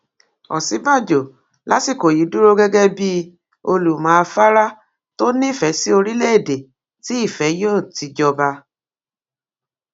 òsínbàjò lásìkò yìí dúró gẹgẹ bíi olùmọ afárá tó nífẹẹ sí orílẹèdè tí ìfẹ yóò ti jọba